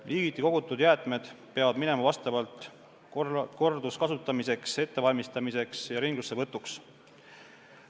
Liigiti kogutud jäätmed peavad minema korduskasutamiseks ettevalmistamiseks ja ringlussevõtuks.